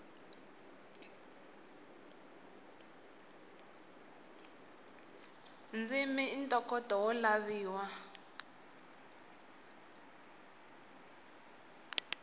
ndzimi i ntokoto wo laviwa